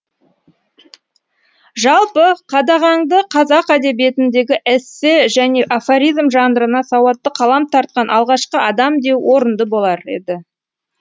жалпы қадағаңды қазақ әдебиетіндегі эссе және афоризм жанрына сауатты қалам тартқан алғашқы адам деу орынды болар еді